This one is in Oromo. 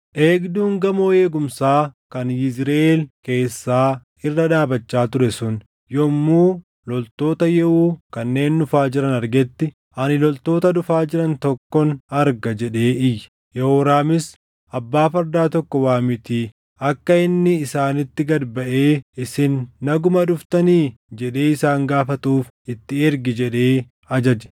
Eegduun gamoo eegumsaa kan Yizriʼeel keessaa irra dhaabachaa ture sun yommuu loltoota Yehuu kanneen dhufaa jiran argetti, “Ani loltoota dhufaa jiran tokkon arga” jedhee iyye. Yehooraamis, “Abbaa fardaa tokko waamiitii akka inni isaanitti gad baʼee, ‘Isin naguma dhuftanii?’ jedhee isaan gaafatuuf itti ergi” jedhee ajaje.